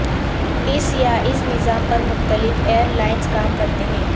اس یا اس نظام پر مختلف ایئر لائنز کام کرتے ہیں